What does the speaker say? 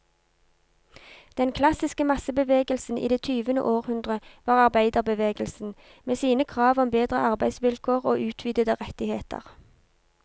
Den klassiske massebevegelsen i det tyvende århundre var arbeiderbevegelsen, med sine krav om bedre arbeidsvilkår og utvidede rettigheter.